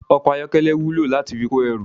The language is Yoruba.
Ọkọ̀ ayọ́kẹ́lẹ́ wúlò láti fi kó ẹrù